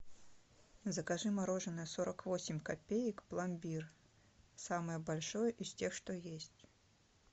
закажи мороженое сорок восемь копеек пломбир самое большое из тех что есть